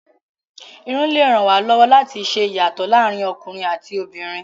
Irun lè ràn wá lọ́wọ́ láti ṣe ìyàtọ̀ láàárín ọkùnrin àti obìnrin.